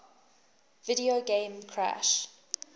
video game crash